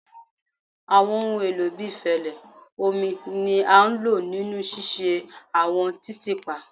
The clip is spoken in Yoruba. Awọn ohun elo bii fẹlẹ, omi ni a lo ninu ṣiṣe awọn titiipa